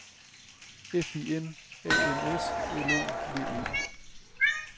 F I N A N S L O V E